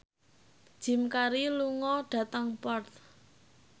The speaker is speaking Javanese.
Jim Carey lunga dhateng Perth